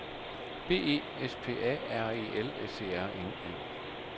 B E S P A R E L S E R N E